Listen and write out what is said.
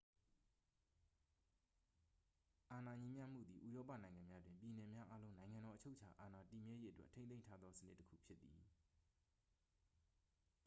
အာဏာညီမျှမှုသည် ဥရောပနိုင်ငံများတွင် ပြည်နယ်များအားလုံး နိုင်ငံတော် အချုပ်အချာအာဏာ တည်မြဲရေးအတွက်ထိန်းသိမ်းထားသေ စနစ်တစ်ခုဖြစ်သည်